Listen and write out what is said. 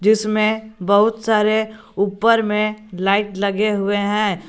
इसमें बहुत सारे ऊपर में लाइट लगे हुए हैं।